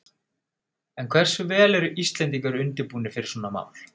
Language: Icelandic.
En hversu vel eru Íslendingar undirbúnir fyrir svona mál?